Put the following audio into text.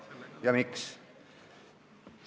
Ja miks?